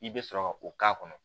I bɛ sɔrɔ ka o k'a kɔnɔ